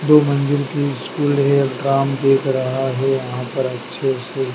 दो मंजिल की स्कूल है दिख रहा है यहां पर अच्छे से।